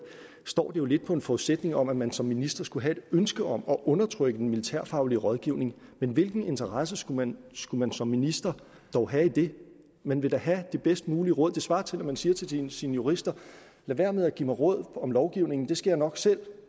står det jo lidt på en forudsætning om at man som minister skulle have et ønske om at undertrykke den militærfaglig rådgivning men hvilken interesse skulle man skulle man som minister dog have i det man vil da have det bedst mulige råd det svarer til at man siger til sine sine jurister lad være med at give mig råd om lovgivningen det skal jeg nok selv